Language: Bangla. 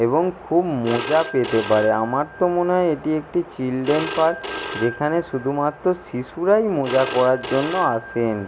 এবং খুব মজা পেতে পারে আমার তো মনে হয় এটি একটি চিলড্রেন পার্ক যেখানে শুধুমাত্র শিশুরাই মজা করার জন্য আসেন।